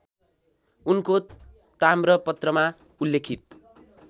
उनको ताम्रपत्रमा उल्लेखित